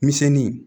Misɛnnin